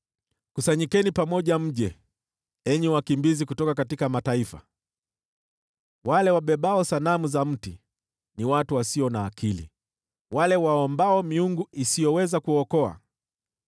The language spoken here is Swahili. “Kusanyikeni pamoja mje, enyi wakimbizi kutoka mataifa. Wale wabebao sanamu za mti ni watu wasio na akili, wale waombao miungu isiyoweza kuokoa.